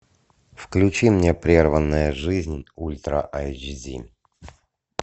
включи мне прерванная жизнь ультра айч ди